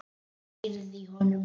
Ég heyrði í honum!